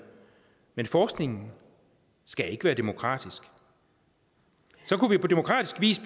men forskningen skal ikke være demokratisk så kunne vi på demokratisk vis